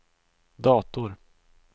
dator